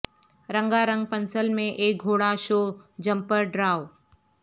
رنگا رنگ پنسل میں ایک گھوڑا شو جمپر ڈراو